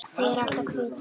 Þau eru alltaf hvít.